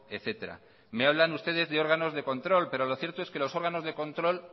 etcétera me hablan ustedes de órganos de control pero lo cierto es que los órganos de control